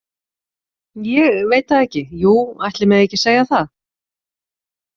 Ég veit það ekki, jú, ætli megi ekki segja það